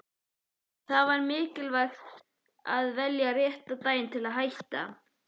Það er mikilvægt að velja rétta daginn til að hætta.